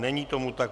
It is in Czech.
Není tomu tak.